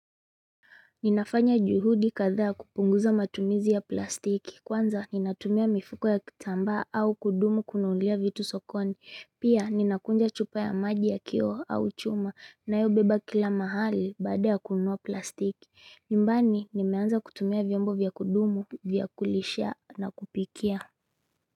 Ninafanya juhudi kadhaa kupunguza matumizi ya plastiki kwanza ninatumia mifuko ya kitambaa au kudumu kununulia vitu sokoni pia ninakunja chupa ya maji ya kioo au chuma na yo beba kila mahali baada ya kununua plastiki nyumbani nimeanza kutumia vyombo vyakudumu vyakulisha na kupikia.